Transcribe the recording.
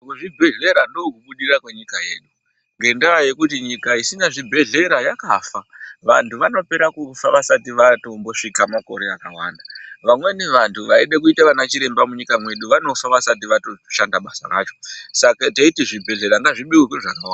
...kwezvibhehlera ndookubudirira kwenyika yedu ngendaa yekuti nyika isina zvibhehlera yakafa, vantu vanopera kufa vasati vatombosvika makore akawanda. Vamweni vantu vaide kuita vana chiremba munyika mwedu vanofa vasati vatoshanda basa racho. Saka teiti zvibhehlera ngazvibeurwe zvakawanda.